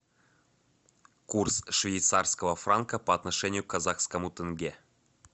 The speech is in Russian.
курс швейцарского франка по отношению к казахскому тенге